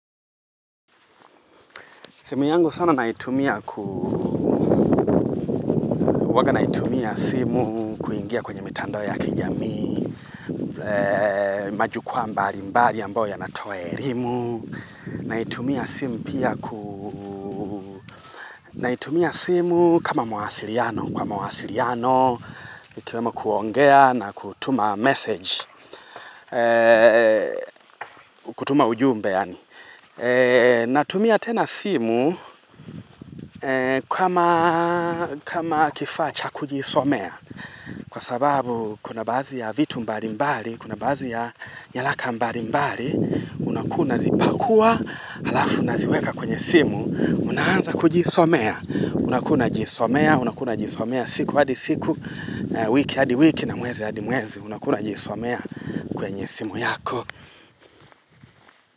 Simu yangu sana naitumia kuu, huwaga naitumia simu kuingia kwenye mitandao ya kijamii, majukwaa mbali mbali ambayo yanatoa elimu, naitumia simu pia kuu, naitumia simu kama mawasiriano, kwa mawasiriano, ikuwemo kuongea na kutuma message, kutuma ujumbe yani. Natumia tena simu kama kifaa cha kujisomea, Kwa sababu kuna bazi ya vitu mbali mbali, kuna bazi ya nyalaka mbali mbali, unakuwa una zipakuwa halafu unaziweka kwenye simu, una anza kujisomea, unakuwa unajisomea, unakuwa unajisomea siku hadi siku, wiki hadi wiki na mwezi hadi mwezi, unakuwa unajisomea kwenye simu yako.